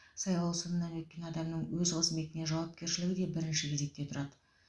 сайлау сынынан өткен адамның өз қызметіне жауапкершілігі де бірінші кезекте тұрады